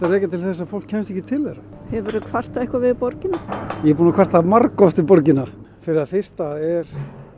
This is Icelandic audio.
rekja til þess að fólk kemst ekki til þeirra hefurðu eitthvað kvartað við borgina ég er búinn að kvarta margoft við borgina fyrir það fyrsta er